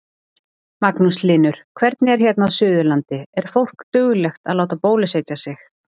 Magnús Hlynur: Hvernig er hérna Suðurlandi, er fólk duglegt að láta bólusetja sig?